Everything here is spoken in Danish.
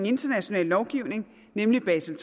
internationale lovgivning nemlig basel